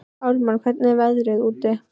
Ármann, hvernig er veðrið úti?